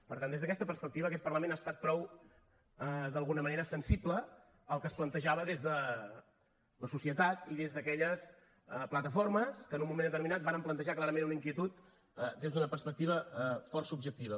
per tant des d’aquesta perspectiva aquest parlament ha estat prou d’alguna manera sensible al que es plantejava des de la societat i des d’aquelles plataformes que en un moment determinat varen plantejar clarament una inquietud des d’una perspectiva força objectiva